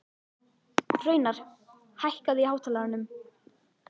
Hraunar, hækkaðu í hátalaranum.